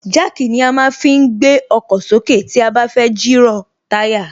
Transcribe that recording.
Jack ni a má ń fi gbé ọkọ̀ sókè tí a bá fẹ́ jìrọ̀ táyà